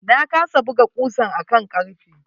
Na kasa buga kusan a kan karfe.